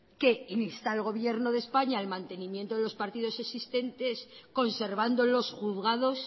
que en instar al gobierno de españa al mantenimiento de los partidos existentes conservando los juzgados